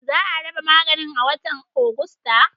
Za a raba maganin a watan Agusta.